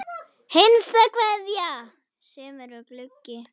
HINSTA KVEÐJA Sumir eru gluggi.